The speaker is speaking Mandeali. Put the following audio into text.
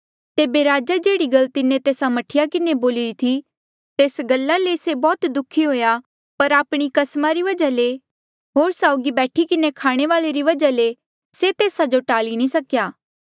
तेबे राजा जेह्ड़ी गल तिन्हें तेस्सा मह्ठी किन्हें बोलिरी थे तेस गला ले से बौह्त दुःखी हुआ पर आपणी कसमा री वजहा ले होर साउगी बैठी किन्हें खाणे वाले री वजहा ले से तेस्सा जो टाल्ली नी सकेया